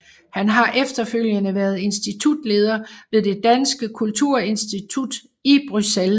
Han har efterfølgende været Institutleder ved Det Danske Kulturinstitut i Bruxelles